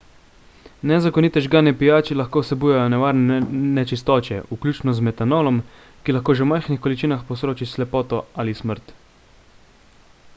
nezakonite žgane pijače lahko vsebujejo nevarne nečistoče vključno z metanolom ki lahko že v majhnih količinah povzroči slepoto ali smrt